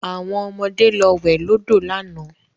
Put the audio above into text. Àwọn ọmọde lọ wẹ̀ lọ́dọ̀ lánàá